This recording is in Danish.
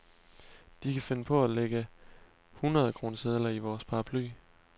De kan finde på at lægge hundredkronesedler i vores paraply.